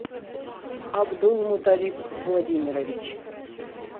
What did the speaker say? абдулмуталип владимирович